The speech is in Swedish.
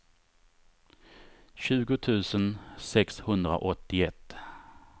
tjugo tusen sexhundraåttioett